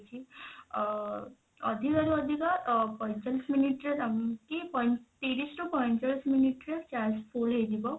ଅ ଅଧିକା ରୁ ଆଧିକା ଅ ପଇଁଚାଳିଶ minute ରେ କି ପ ତିରିଶ ରୁ ପଇଁଚାଳିଶ minute ରେ charge full ହେଇଯିବ